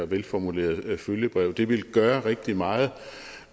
velformuleret følgebrev det ville gøre rigtig meget